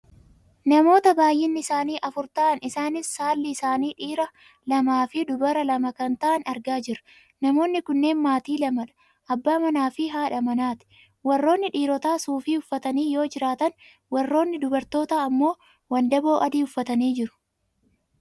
Namoota baayyinni isaanii afur ta'an isaaniis saalli isaanii dhiiraa lamaaf dubara lama kan ta'an argaa jirra. Namoonni kunneen maatii lamadha. Abbaa manaa fi haadha manaati. Warroonni dhiirotaa suufii uffatanii yoo jiraatan Warroonni dubartootaa ammoo wandaboo adii uffatanii jiru.